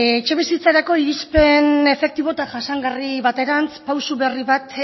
etxebizitzarako irizpen efektibo eta jasangarri baterantz pausu berri bat